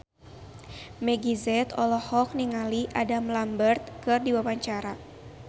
Meggie Z olohok ningali Adam Lambert keur diwawancara